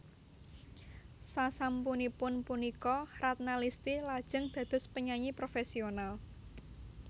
Sasampunipun punika Ratna Listy lajeng dados penyanyi profesional